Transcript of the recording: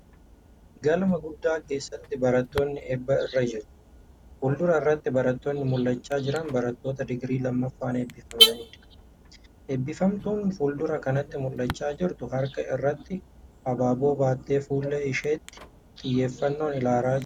Gqlma guddaa keessatti baratoonni eebba irra jiru. Fuuldura irratti barattoonni mul'achaa jiran barattoota digirii lammaffaan eebbifamaniidha. Eebbifamtuun fuuldura kanatti mul'achaa jirtu harka irratti abaaboo baattee fuullee isheetti xiyyeeffannoon ilaalaa jirti.